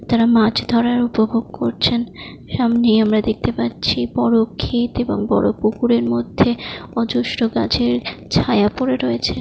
তারা মাছ ধরার উপভোগ করছেন সামনেই আমরা দেখতে পাচ্ছি বড়ো ক্ষেত এবং বড় পুকুরের মধ্যে অজস্র গাছের ছায়া পড়ে রয়েছে।